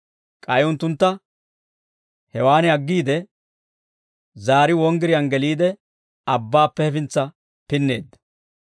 K'ay unttuntta hewaan aggiide, zaari wonggiriyaan geliide, abbaappe hefintsa pinneedda.